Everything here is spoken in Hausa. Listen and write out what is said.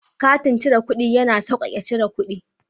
Katin cire kuɗi ya na sauƙaƙe cire kuɗi.